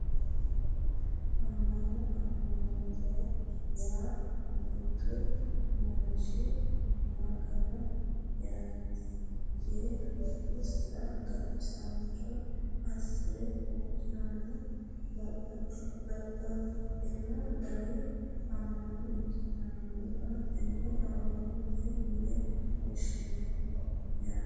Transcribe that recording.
Amma'no amma'note yaa mittu manchi magano'yaati yee lubbosira gatisaancho assire huuccirannoha babbaxxino dani amma'no ikkitinota tenne amma'note yine woshshineemmo yaate